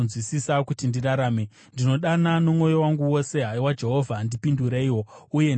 Ndinodana nomwoyo wangu wose; haiwa Jehovha ndipindureiwo, uye ndichateerera mitemo yenyu.